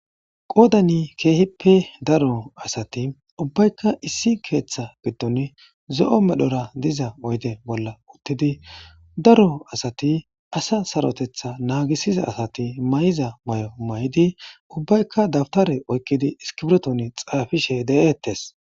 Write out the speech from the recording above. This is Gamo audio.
qoodani keehipe daro asati ubbaykka issi keeththa giddon zo7o medhora diza oyde bolla uttidi daro asati asa sarotetha naagisiza asati may7iza may7o may7idi ubbaykka dabtare oykkidi iskibreton xaafishe de7eettes